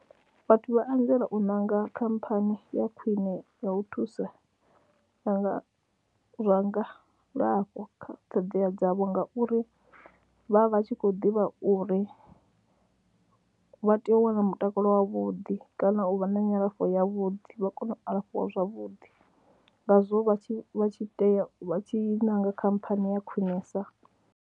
Vhathu vha anzela u ṋanga khamphani ya khwine ya u thusa zwa nga zwa ngalafho kha ṱhoḓea dzavho ngauri vha vha tshi khou ḓivha uri vha tea u wana mutakalo wavhuḓi kana u vha na nyalafho yavhuḓi vha kone u alafhiwa zwavhuḓi ngazwo vha tshi vha tshi tea u vha tshi ṋanga khamphani ya khwinesa.